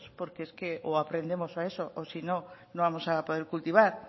porque es que o aprendemos a eso o si no no vamos a poder cultivar